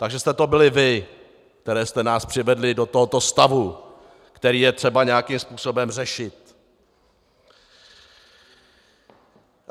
Takže jste to byli vy, kteří jste nás přivedly do tohoto stavu, který je třeba nějakým způsobem řešit.